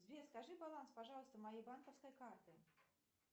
сбер скажи баланс пожалуйста моей банковской карты